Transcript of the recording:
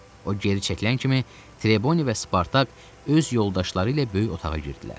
O geri çəkilən kimi Treboni və Spartak öz yoldaşları ilə böyük otağa girdilər.